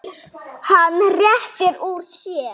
Hann rétti úr sér.